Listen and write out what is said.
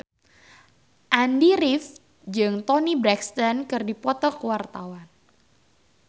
Andy rif jeung Toni Brexton keur dipoto ku wartawan